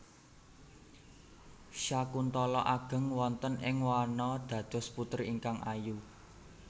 Syakuntala ageng wonten ing wana dados putri ingkang ayu